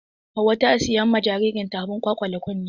Hauwa ta siyan ma jaririn ta abun kwalkwale kunne.